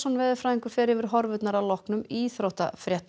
veðurfræðingur fer yfir horfurnar að loknum íþróttafréttum